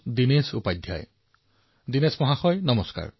দিনেশ জী নমস্কাৰ